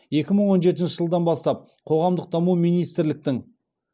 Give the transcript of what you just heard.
екі мың он жетінші жылдан бастап қоғамдық даму министрліктің